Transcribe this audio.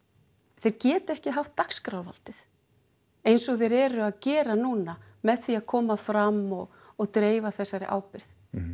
þeir geta ekki haft dagskrárvaldið eins og þeir eru að gera núna með því að koma fram og og dreifa þessari ábyrgð